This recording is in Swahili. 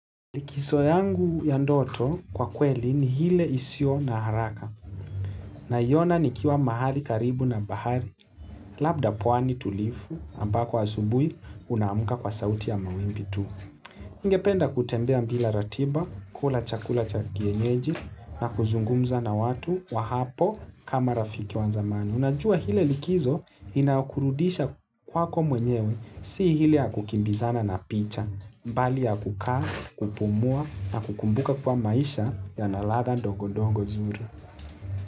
Likiso yangu ya ndoto kwa kweli ni hile isio na haraka. Naiyona ni kiwa mahali karibu na bahari. Labda pwani tulifu ambako asubui unaamuka kwa sauti ya mawimbi tu. Ningependa kutembea mbila ratiba, kula chakula cha kienyeji na kuzungumza na watu wa hapo kama rafiki wanzamani. Unajua hile likizo inakurudisha kwako mwenyewe, si hile ya kukimbizana na picha, bali ya kukaa, kupumua na kukumbuka kwa maisha yana ladha ndogondogo zuri.